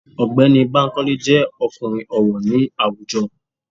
Ọ̀gbẹ́ni Bankole jẹ́ ọkùnrin ọ̀wọ̀ ní àwùjọ.